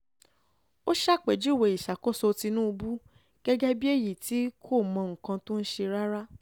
ó ṣàpèjúwe ìṣàkóso tìǹbù gẹ́gẹ́ bíi èyí tí kò mọ nǹkan tó ń ṣe rárá